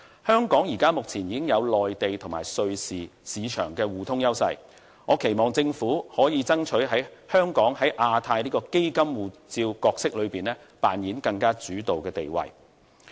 香港目前已經擁有內地及瑞士市場互通的優勢，我期望政府能夠爭取香港在亞太區"基金護照"這一個角色裏面扮演更主導的地位。